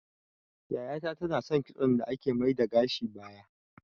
Yaya ta ta na son kitson da ake mai da gashi baya